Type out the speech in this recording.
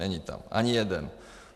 Není tam ani jeden.